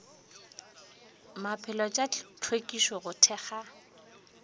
maphelo tša hlwekišo go thekga